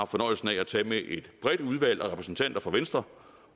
fornøjelsen at tage med et bredt udvalg af repræsentanter fra venstre